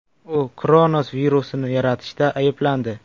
U Kronos virusini yaratishda ayblandi.